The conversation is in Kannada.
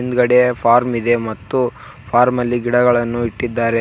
ಹಿಂದ್ಗಡೆ ಫಾರ್ಮ್ ಇದೆ ಮತ್ತು ಫಾರ್ಮ ಅಲ್ಲಿ ಗಿಡಗಳನ್ನು ಇಟ್ಟಿದ್ದಾರೆ.